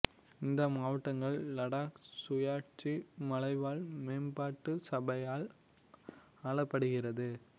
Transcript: இந்த மாவட்டங்கள் லடாக் சுயாட்சி மலைவாழ் மேம்பாட்டு சபையால் ஆளப்படுகிறது